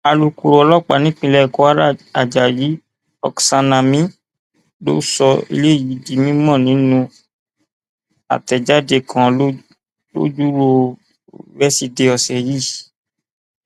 alūkọrọ ọlọpàá nípínlẹ kwara ajayi oksanami ló sọ eléyìí di mímọ nínú àtẹjáde kan lọjọrùú wẹsídẹẹ ọsẹ yìí